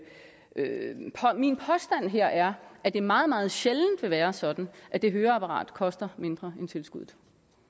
min påstand her er at det meget meget sjældent vil være sådan at det høreapparat koster mindre end tilskuddet